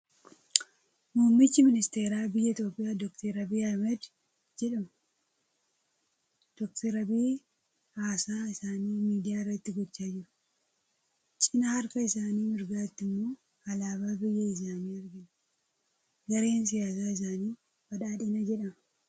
Muummichi Ministeera biyya Itoophiyaa Dookter Abiyyi Ahmeed jedhamu. Dookter Abiyyi haasaa isaanii miidiyaa irratti gochaa jiru. Cinaa harka isaanii mirgaatti immoo alaabaa biyya isaanii argina. Gareen siyaasaa isaanii badhaadhina jedhama.